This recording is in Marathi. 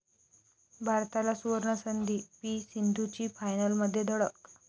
भारताला 'सूवर्ण'संधी, पी.सिंधूची फायनलमध्ये धडक